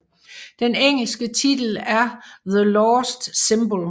Den engelske titel er The Lost Symbol